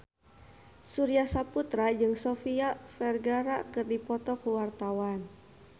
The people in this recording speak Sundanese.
Surya Saputra jeung Sofia Vergara keur dipoto ku wartawan